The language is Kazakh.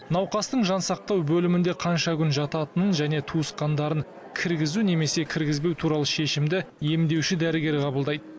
науқастың жансақтау бөлімінде қанша күн жататынын және туысқандарын кіргізу немесе кіргізбеу туралы шешімді емдеуші дәрігер қабылдайды